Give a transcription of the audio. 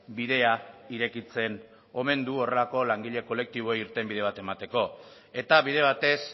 bidea irekitzen omen du horrelako langile kolektibo irtenbide bat emateko eta bide batez